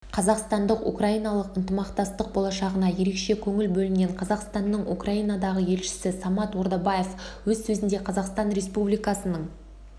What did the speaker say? қазақстандық-украиналық ынтымақтастық болашағына ерекше көңіл бөлінген қазақстанның украинадағы елшісі самат ордабаев өз сөзінде қазақстан республикасының